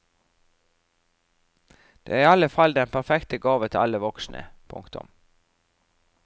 Den er i alle fall den perfekte gave til alle voksne. punktum